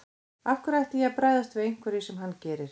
Af hverju ætti ég að bregðast við einhverju sem hann gerir.